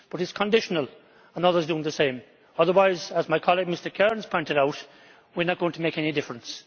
But this is conditional on others doing the same. Otherwise, as my colleague Mr Kariņš pointed out, we are not going to make any difference.